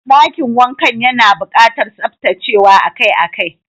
Dakin wankan yana bukatar tsaftacewa akai-akai.